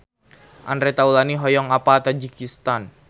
Andre Taulany hoyong apal Tajikistan